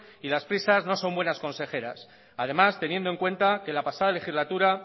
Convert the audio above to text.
y las prisas no son buenas consejeras además teniendo en cuenta que la pasada legislatura